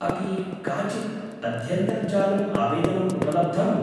अपि काचित् अध्यन्तर्जालम् आवेदनम् उपलब्धम्?